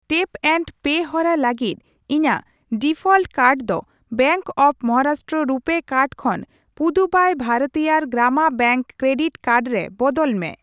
Tap and pay ᱦᱚᱨᱟ ᱞᱟᱹᱜᱤᱫ ᱤᱧᱟ.ᱜ ᱰᱤᱯᱷᱚᱞᱴ ᱠᱟᱨᱰ ᱫᱚ bank of Maharashtra RuPay card ᱠᱷᱚᱱ ᱯᱩᱫᱩᱵᱟᱭ ᱵᱷᱟᱨᱟᱛᱤᱭᱟᱨ ᱜᱨᱟᱢᱟ ᱵᱮᱝᱠ ᱠᱨᱮᱰᱤᱴ ᱠᱟᱨᱰ ᱨᱮ ᱵᱚᱫᱚᱞ ᱢᱮ ᱾